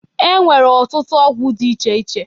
E nwere ọtụtụ ọgwọ dị iche iche.